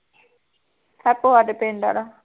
ਹੈਪੂ ਸਾਡੇ ਪਿੰਡ ਆਲਾ